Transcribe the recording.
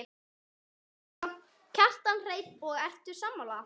Kjartan Hreinn: Og ertu sammála?